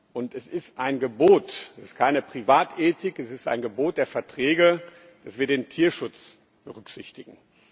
Und es ist ein Gebot es ist keine Privatethik, es ist ein Gebot der Verträge, dass wir den Tierschutz berücksichtigen.